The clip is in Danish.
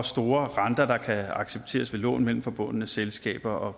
store renter der kan accepteres ved lån mellem forbundne selskaber